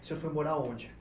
O senhor foi morar onde?